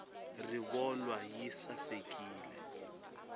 rivolwa yi sasekile